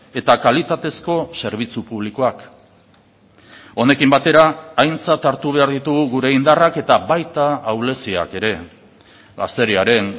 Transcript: eta kalitatezko zerbitzu publikoak honekin batera aintzat hartu behar ditugu gure indarrak eta baita ahuleziak ere gazteriaren